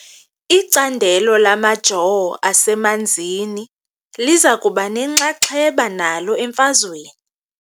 Icandelo lamajoo asemanzini liza kuba nenxaxheba nalo emfazweni .